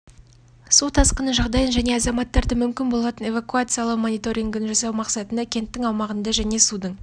су тасқыны жағдайын және азаматтарды мүмкін болатын эвакуациялау мониторингін жасау мақсатында кенттің аумағындағы және судың